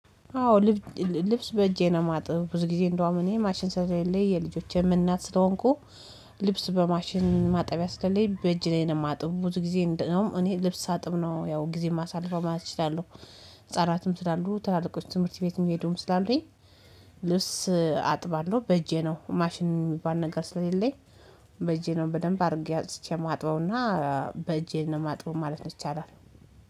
አዎ ልብስ በእጄ ነው ማጥብ ብዙ ጊዜ እንደውም እኔ ማሽን ሰውዬ የልጆቼ ምን እናት ስለሆንኩ። ልብስ በማሽን ማጣቢያ ስትለኝ በእጅ ላይ ነው የማጥብ ብዙ ጊዜ እንደውም እኔ ልብስ አጥብ ነው ያው ጊዜ የማሳልፈው ማለት እችላለሁ። እጻናትም ስላሉ ትላልቆች ትምህርት ቤት የሚሄዱም ስላሉኝ። ልብስ አጥባለሁ በእጄ ነው ማሽን የሚባል ነገር ስለሌለኝ። በእጄ ነው በደንብ አድርጌ አጥቼ ማጥበውና በእጄ ማጥበብ ማለት ነው ይቻላል።